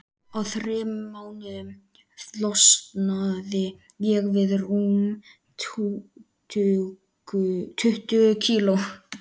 Á þremur mánuðum losnaði ég við rúm tuttugu kíló.